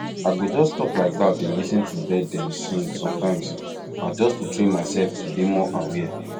i go just stop like dat dey lis ten to bird dem sing sometimes na just to to train myself to dey more aware